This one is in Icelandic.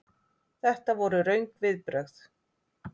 Þetta voru röng viðbrögð.